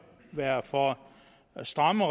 være for stramme